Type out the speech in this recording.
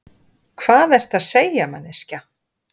Hvað ertu að segja, manneskja?